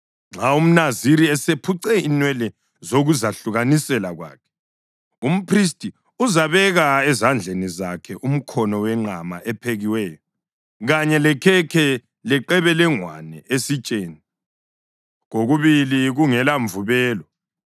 Nxa umNaziri esephuce inwele zokuzahlukanisela kwakhe, umphristi uzabeka ezandleni zakhe umkhono wenqama ephekiweyo, kanye lekhekhe leqebelengwane esitsheni, kokubili kungela mvubelo.